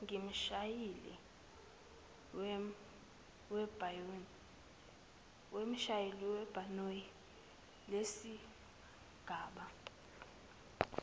kumshayeli webhanoyi lesigaba